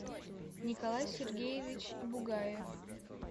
николай сергеевич бугаев